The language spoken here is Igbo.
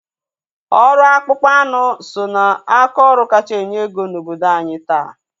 Ọrụ akpụkpọ anụ so ná aka ọrụ kacha enye ego na obodo anyị taa.